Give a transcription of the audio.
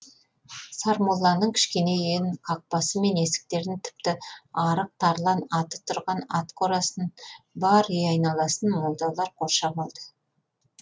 сармолланың кішкене үйін қақпасы мен есіктерін тіпті арық тарлан аты тұрған ат қорасын бар үй айналасын молдалар қоршап алды